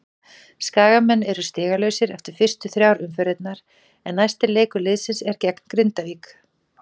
Skagamenn eru stigalausir eftir fyrstu þrjár umferðirnar en næsti leikur liðsins er gegn Grindavík.